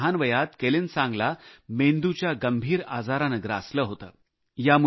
इतक्या लहान वयात केलेनसांगला मेंदूच्या गंभीर आजाराने ग्रासले होते